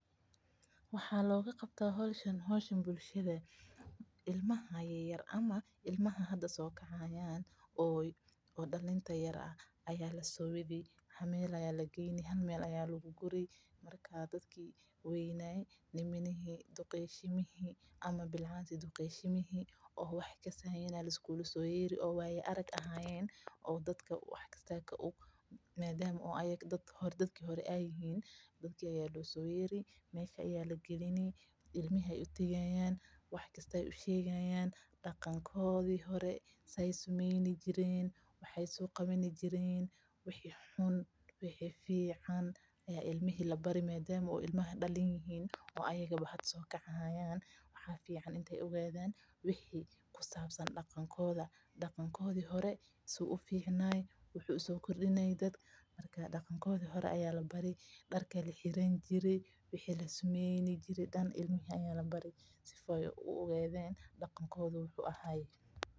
Waxa looga qabtaa howshan bulshada ilmaha hada soo kacayaan ayaa lasoo wadi hal meel ayaa lageyni marka dadki duqoshimihi ayaa losoo yeeri mesha ayaa lagalini ilmaha ayeey wax ushegayaan waxi daqankoodi wixi xun wixi fican, daqanki suu kuficnaaya, darki laxirani jire, si aay u ogaadan daqankooda wuxu ahaay.